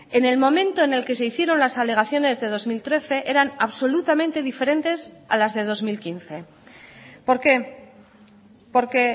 en el momento en el que se hicieron las alegaciones de dos mil trece eran absolutamente diferentes a las de dos mil quince por qué porque